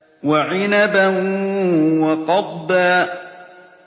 وَعِنَبًا وَقَضْبًا